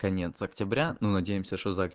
конец октября но надеемся что за